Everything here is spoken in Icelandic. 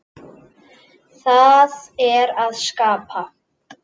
Það er að skapa.